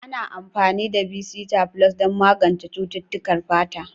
Ana amfani da bisita flus don magance cututtukan fata.